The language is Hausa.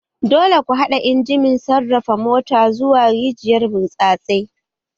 Dole ku haɗa injimin sarrafa mota zuwa rijiyar burtsatse!